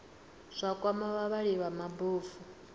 zwa kwama vhavhali vha mabofu